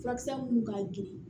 Furakisɛ minnu ka girin